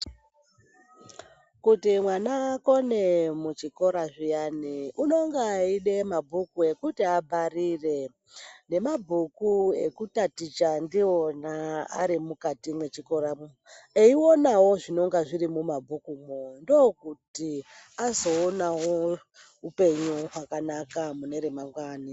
Kuti mwana akone muchikora zviyani unenge eida mabhuku ekuti abharire nemabhuku ekutaticha ndiwona arimukati mwechikoramwo, eionawo zvinonga zviri mumabhukumwo ndokuti azoonawo upenyu hwakanaka mune remangwani.